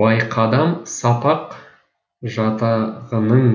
байқадам сапақ жатағының